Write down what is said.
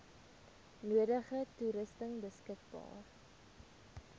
nodige toerusting beskikbaar